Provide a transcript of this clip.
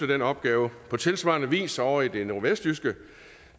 den opgave på tilsvarende vis ovre i det nordvestjyske